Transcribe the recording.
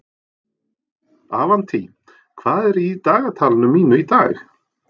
Avantí, hvað er í dagatalinu mínu í dag?